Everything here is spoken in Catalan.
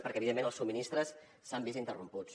perquè evidentment els subministres s’han vist interromputs